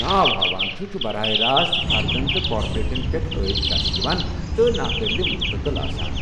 ناو ہاوان چُھ ،چُھ براہ راست فردن تہٕ كاپوریٹن پیٹھ عٲید كرنہٕ یوان تہٕ ناقٲبلہِ منتقل آسان۔